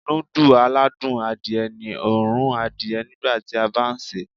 Núdù aládùn adìẹ ní òórùn adìẹ nígbàtí a bá sèé.